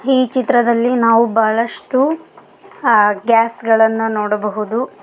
ಈ ಚಿತ್ರದಲ್ಲಿ ನಾವು ಬಹಳಷ್ಟು ಅ ಗ್ಯಾಸ್ ಗಳನ್ನು ನೋಡಬಹುದು.